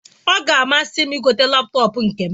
Ọ ga amasim igote laptọọpụ nkem